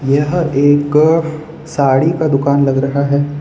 यह एक साड़ी का दुकान लग रहा है।